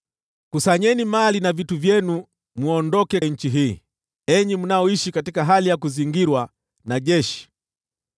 Kusanyeni mali na vitu vyenu mwondoke nchi hii, enyi mnaoishi katika hali ya kuzingirwa na jeshi.